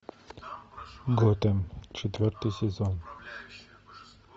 готэм четвертый сезон